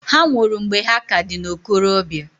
Ha nwụrụ mgbe ha ka dị n'okorobia.